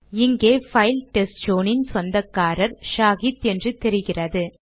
இங்கே பைல் டெஸ்ட்சோன் இன் சொந்தக்காரர் ஷாஹித் என்று தெரிகிறது